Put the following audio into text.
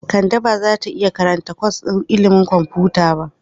Kande ba za ta iya karanta kwas ɗin ilimin kwamfuta ba.